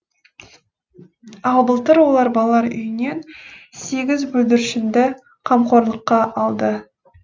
ал былтыр олар балалар үйінен сегіз бүлдіршінді қамқорлыққа алды